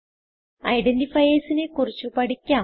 identifiersനെ കുറിച്ച് പഠിക്കാം